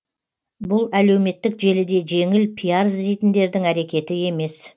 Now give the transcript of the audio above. бұл әлеуметтік желіде жеңіл пиар іздейтіндердің әрекеті емес